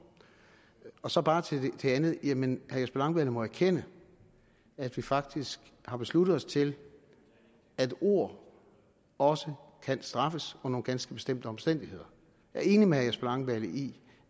så bare til det andet jamen herre jesper langballe må erkende at vi faktisk har besluttet os til at ord også kan straffes under nogle ganske bestemte omstændigheder jeg er enig med herre jesper langballe i